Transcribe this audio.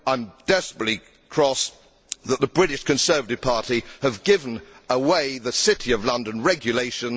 I am desperately cross that the British Conservative Party has given away the City of London regulation.